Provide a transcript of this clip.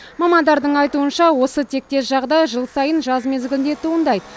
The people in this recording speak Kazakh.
мамандардың айтуынша осы тектес жағдай жыл сайын жаз мезгілінде туындайды